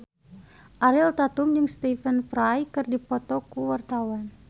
Ariel Tatum jeung Stephen Fry keur dipoto ku wartawan